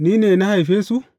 Ni ne na haife su?